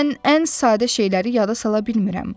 Mən ən sadə şeyləri yada sala bilmirəm.